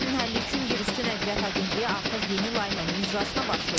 Məsələnin həlli üçün yerüstü nəqliyyat agentliyi artıq yeni layihənin icrasına başlayıb.